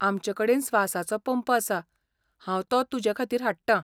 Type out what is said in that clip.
आमचेकडेन स्वासाचो पंप आसा, हांव तो तुजेखातीर हाडटां.